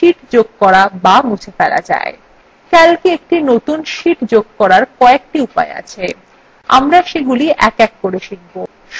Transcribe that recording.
calcwe একটি নতুন sheet যোগ করার কয়েকটি উপায় আছে